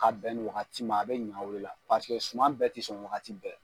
Ka bɛn nin wagati ma a bɛ ɲa o de la paseke suma bɛɛ tɛ sɔn wagati bɛɛ.